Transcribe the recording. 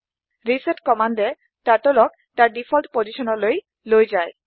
reset command a turtle ক তাৰ default পজিছনলৈ লৈ যায়